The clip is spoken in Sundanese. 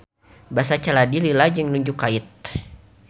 Basa caladi lila jeung nunjuk kait.